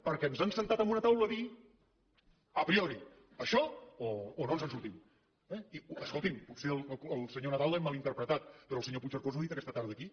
perquè ens han assegut a una taula a dir a prioriescolti’m potser al senyor nadal l’hem mal interpretat però el senyor puigcercós ho ha dit aquesta tarda aquí